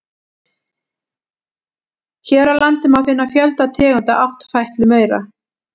Hér á landi má finna fjölda tegunda áttfætlumaura.